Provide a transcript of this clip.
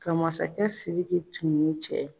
Ka masakɛ Sidiki tun ye cɛ ye.